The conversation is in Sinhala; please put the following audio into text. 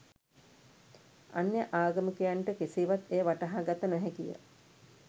අන්‍ය ආගමිකයන්ට කෙසේවත් එය වටහා ගත නොහැකිය.